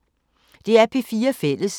DR P4 Fælles